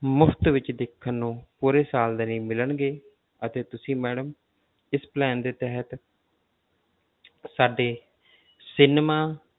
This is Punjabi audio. ਮੁਫ਼ਤ ਵਿੱਚ ਦੇਖਣ ਨੂੰ ਪੂਰੇ ਸਾਲ ਦੇ ਲਈ ਮਿਲਣਗੇ ਅਤੇ ਤੁਸੀਂ madam ਇਸ plan ਦੇ ਤਹਿਤ ਸਾਡੇ cinema